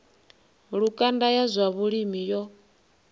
lukanda ya zwa vhulimi yo